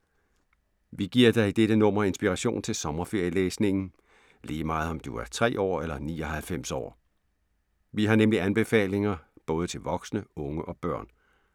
Vi giver dig i dette nummer inspiration til sommerferielæsningen, lige meget om du er tre år eller 99 år. Vi har nemlig anbefalinger både til voksne og unge og børn.